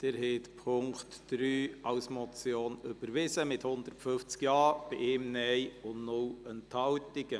Sie haben den Punkt 3 als Motion überwiesen, mit 150 Ja-Stimmen bei 1 Nein-Stimme und 0 Enthaltungen.